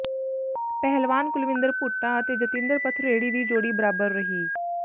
ਪਹਿਲਵਾਨ ਕੁਲਵਿੰਦਰ ਭੁੱਟਾ ਅਤੇ ਜਤਿੰਦਰ ਪਥਰੇੜੀ ਦੀ ਜੋੜੀ ਬਰਾਬਰ ਰਹੀ